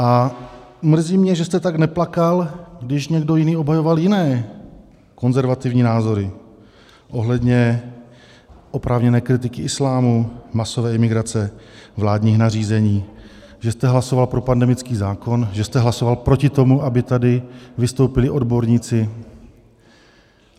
A mrzí mě, že jste tak neplakal, když někdo jiný obhajoval jiné konzervativní názory ohledně oprávněné kritiky islámu, masové imigrace, vládních nařízení, že jste hlasoval pro pandemický zákon, že jste hlasoval proti tomu, aby tady vystoupili odborníci.